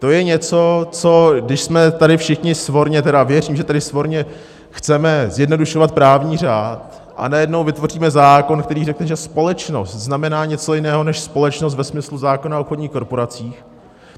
To je něco, co když jsme tady všichni svorně, tedy věřím, že tady svorně chceme zjednodušovat právní řád, a najednou vytvoříme zákon, který řekne, že společnost znamená něco jiného než společnost ve smyslu zákona o obchodních korporacích.